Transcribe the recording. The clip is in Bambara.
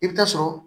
I bɛ taa sɔrɔ